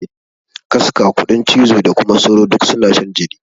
Kaska, kuɗin cizo da kuma sauro duk suna shan jini.